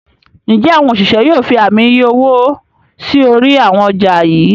njé àwọn òṣìṣẹ́ yóò fí Ààmì iye owó sí orí àwọn ọjà yí?